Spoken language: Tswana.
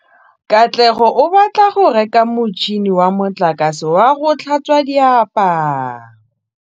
Katlego o batla go reka motšhine wa motlakase wa go tlhatswa diaparo.